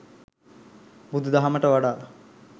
බුදුදහමට වඩා